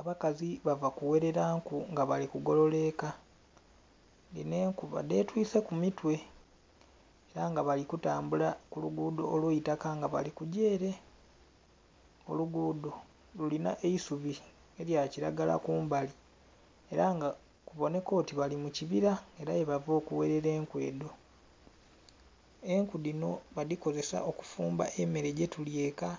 Abakazi bava ku gherera nku nga bali ku golola eka dhino enku badhe twise ku mitwe era nga balli ku tambula ku luguudho olweitaka nga bali kugya ere. Oluguudho lulina eisubi elya kilagala kumbali era nga kubonheka oti bali mu kibira era yebava oku gherera enku edho. Enku dhino badhi kozesesa okufumba emere gyetulya eka